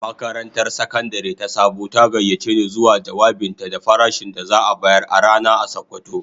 Makarantar Sakandare ta Sabo ta gayyace ni zuwa jawabinta da farashin da za'a bayar a rana a sokoto.